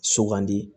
Sugandi